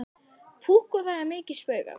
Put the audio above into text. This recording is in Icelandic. Púkk og það er mikið spaugað.